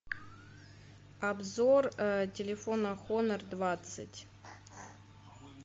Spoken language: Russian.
обзор телефона хонор двадцать